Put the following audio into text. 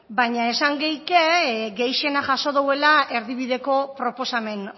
baina esan geike gehixena jaso douela erdibideko proposamen